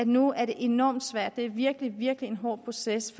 nu er det enormt svært det er virkelig virkelig en hård proces